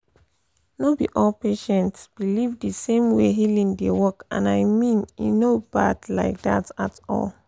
no be all patients believe the same way healing dey work — and i mean e no bad like that at all.